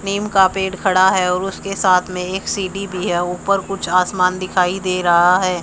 निम का पेड़ खड़ा है और उसके साथ में एक सीढ़ी भी है ऊपर कुछ आसमान दिखाई दे रहा है।